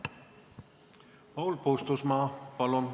Paul Puustusmaa, palun!